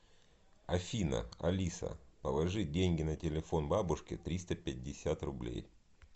афина алиса положи деньги на телефон бабушке триста пятьдесят рублей